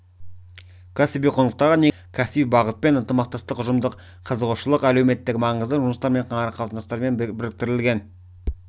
кәсіби құндылықтарға негізделетін тәрбие үрдісі кәсіби бағытпен ынтымақтастық ұжымдық қызығушылық әлеуметтік маңызды жұмыстармен қарым-қатынастармен біріктірілген